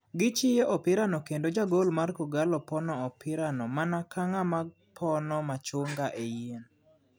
Gi chiyo opira no kendo ja gol mar kogallo pono opira no mana ka ng'ama pono machungae yien.